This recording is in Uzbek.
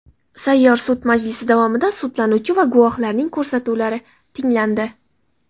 Sayyor sud majlisi davomida sudlanuvchi va guvohlarning ko‘rsatuvlari tinglandi.